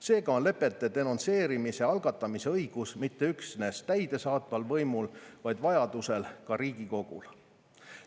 Seega on lepete denonsseerimise algatamise õigus mitte üksnes täidesaatval võimul, vaid vajaduse korral ka Riigikogul.